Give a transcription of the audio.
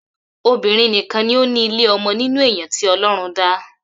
Obirin nìkan ni o ni ile ọmọ nínú èèyàn tí ọlọrun dá